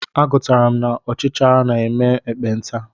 Agụtara m na ọchichara na-eme ekpenta.